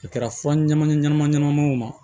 A kɛra fɔ ɲɛnɛma ɲɛnɛma ɲɛnɛmaw ma